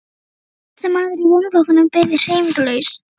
Hver einasti maður í vinnuflokknum beið hreyfingarlaus.